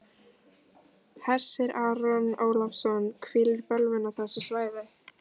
Hersir Aron Ólafsson: Hvílir bölvun á þessu svæði?